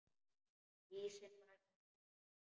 Ísinn var ekki þykkur.